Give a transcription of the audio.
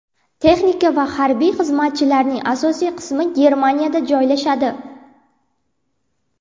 Texnika va harbiy xizmatchilarning asosiy qismi Germaniyada joylashadi.